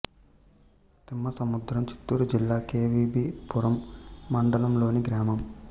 తిమ్మసముద్రం చిత్తూరు జిల్లా కె వి బి పురం మండలం లోని గ్రామం